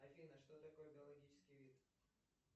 афина что такое биологический вид